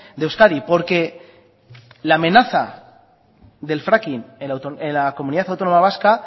de euskadi porque la amenaza del fracking en la comunidad autónoma vasca